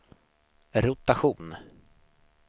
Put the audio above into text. rotation